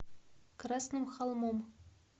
красным холмом